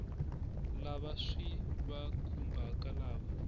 lava swi va khumbhaka lava